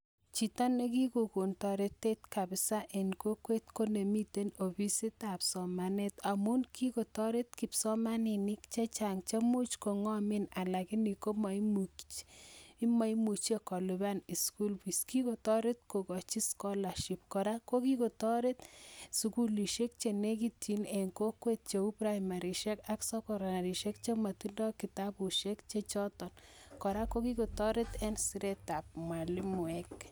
Chito nekikogon taretet kabisa en kokwet konemii ofisit ab somanet amun kikotaret kipsomaninik chechang cheimuch kongamen lakini maimuche koluban school fees kikotaret kokai scholarship koraa kokikotaretsukulisiek chenekityin en kokwet cheu primary ak secondary Cs]chematinye kitabusiek choton ak koraa ko kikotaret en Siret ab mwalimuek